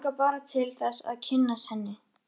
Mig langar bara til þess að kynnast henni.